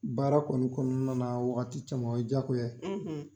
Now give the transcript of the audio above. Baara kɔni kɔnɔna na wagati caman o ye jagoya ye.